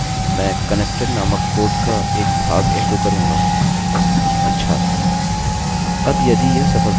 मैं connected नामक code का एक भाग एको echo करूँगा